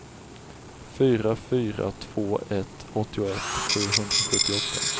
fyra fyra två ett åttioett sjuhundrasjuttioåtta